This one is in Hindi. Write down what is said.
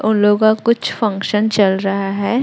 उन लोगा कुछ फंक्शन चल रहा है।